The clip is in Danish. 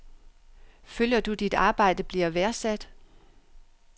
Føler du dit arbejde bliver værdsat?